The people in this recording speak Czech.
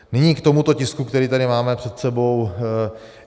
Nyní k tomuto tisku, který tady máme před sebou.